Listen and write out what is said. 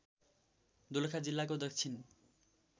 दोलखा जिल्लाको दक्षिण